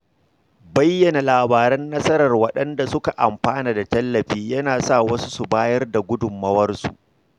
Bayyana labaran nasarar waɗanda suka amfana da tallafi yana sa wasu su bayar da gudunmawarsu.